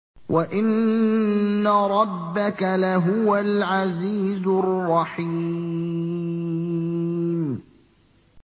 وَإِنَّ رَبَّكَ لَهُوَ الْعَزِيزُ الرَّحِيمُ